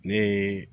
Ne ye